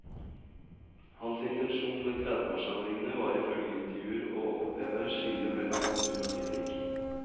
Hans intensjon med tredveårssamlingene var ifølge intervjuer åoppheve skillet mellom natur og teknikk.